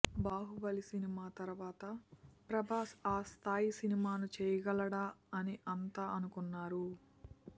Baahubali cinema తర్వాత ప్రభాస్ ఆ స్థాయి సినిమాను చేయగలడా అని అంతా అనుకున్నారు